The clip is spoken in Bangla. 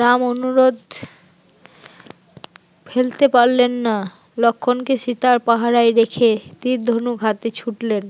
রাম অনুরোধ ফেলতে পারলেন না, লক্ষণ কে সীতার পাহারায় রেখে তীর ধনুক হাতে ছুটলেন